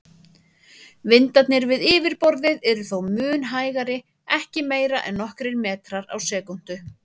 Vindarnir við yfirborðið eru þó mun hægari, ekki meira en nokkrir metrar á sekúndu.